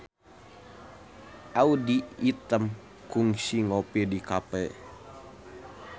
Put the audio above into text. Audy Item kungsi ngopi di cafe